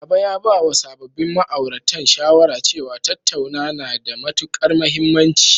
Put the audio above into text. Baba ya bawa sababbin ma'auratan shawara cewa, tattauna na da matuƙar mahimmanci.